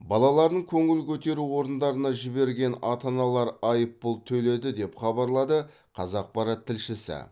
балаларын көңіл көтеру орындарына жіберген ата аналар айыппұл төледі деп хабарлайды қазақпарат тілшісі